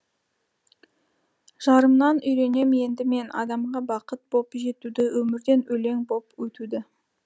жарымнан үйренем енді мен адамға бақыт боп жетуді өмірден өлең боп өтуді